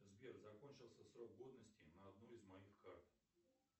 сбер закончился срок годности на одной из моих карт